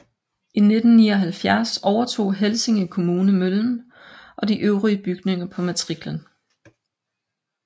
I 1979 overtog Helsinge Kommune møllen og de øvrige bygninger på matriklen